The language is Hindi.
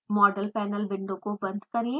मॉडल पैनल विंडो को बंद करें